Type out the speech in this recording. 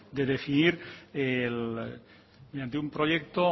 de definir mediante un proyecto